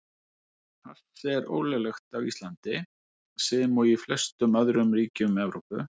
Hass er ólöglegt á Íslandi, sem og í flestum öðrum ríkjum Evrópu.